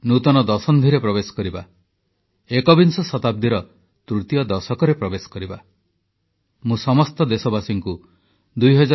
ଆଉ 3ଦିନ ମଧ୍ୟରେ 2019 ବିଦାୟ ନେବ ଏବଂ ଆମେ କେବଳ ଯେ 2020ରେ ପ୍ରବେଶ କରିବା ତାହା ନୁହେଁ ନୂଆବର୍ଷରେ ପ୍ରବେଶ କରିବା ନୂତନ ଦଶନ୍ଧିରେ ପ୍ରବେଶ କରିବା ଏକବିଂଶ ଶତାବ୍ଦୀର ତୃତୀୟ ଦଶକରେ ପ୍ରବେଶ କରିବା